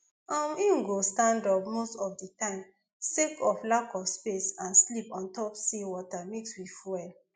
um e go stand up most of di time sake of lack of space and sleep ontop sea water mixed with fuel